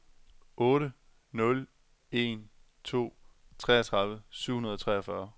otte nul en to treogtredive syv hundrede og treogfyrre